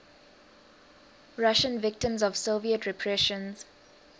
russian victims of soviet repressions